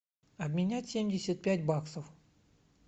обменять семьдесят пять баксов